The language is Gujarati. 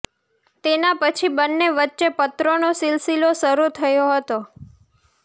તેના પછી બંને વચ્ચે પત્રોનો સિલસિલો શરૂ થયો હતો